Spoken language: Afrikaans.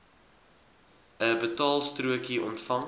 n betaalstrokie ontvang